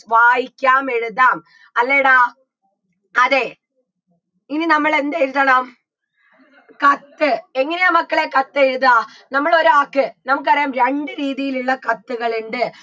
വായിക്കാം എഴുതാം അല്ലേടാ അതെ ഇനി നമ്മൾ എന്ത് എഴുതണം കത്ത് എങ്ങനെയാ മക്കളേ കത്തെഴുതുകാ നമ്മളൊരാക്ക് നമുക്കറിയാം രണ്ട് രീതിയിലുള്ള കത്തുകൾ ഇണ്ട്